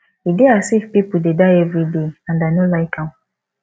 e dey as if people dey die everyday and i no like am